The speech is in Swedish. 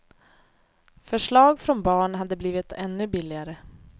Förslag från barn hade blivit ännu billigare.